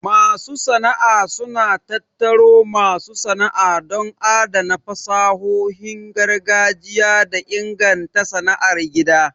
Masu sana'a suna tattaro masu sana'a don adana fasahohin gargajiya da inganta sana'ar gida.